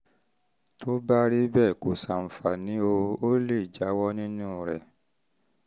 tó o bá rí i pé kò ṣàǹfààní o lè jáwọ́ nínú rẹ̀